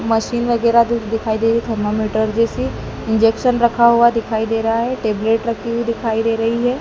Machine वगैरा भी दिखाई दे रही है। थर्मामीटर जैसी इंजेक्शन रखा हुआ दिखाई दे रहा है टैबलेट रखी हुई दिखाई दे रही है।